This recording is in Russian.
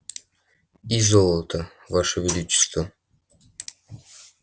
и золото ваше величество